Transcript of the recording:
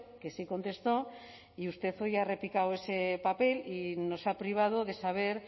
que sí contestó y usted hoy ha replicado ese papel y nos ha privado de saber